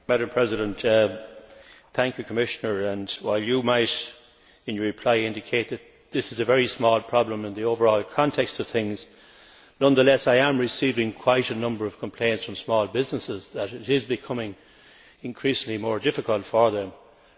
Commissioner, while you might indicate in your reply that this is a very small problem in the overall context of things, nonetheless, I am receiving quite a number of complaints from small businesses that it is becoming increasingly difficult for them and that they are encountering more problems.